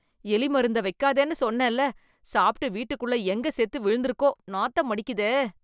எலி மருந்த வைக்காதேன்னு சொன்னேன்ல... சாப்ட்டு வீட்டுக்குள்ள எங்க செத்து விழுந்துருக்கோ, நாத்தமடிக்குதே...